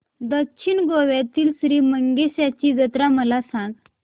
दक्षिण गोव्यातील श्री मंगेशाची जत्रा मला सांग